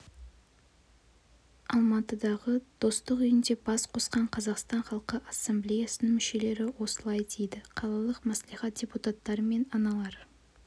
алматыдағы достық үйінде бас қосқан қазақстан халқы ассамблеясының мүшелері осылай дейді қалалық мәслихат депутаттары мен аналар